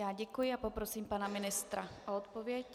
Já děkuji a poprosím pana ministra o odpověď.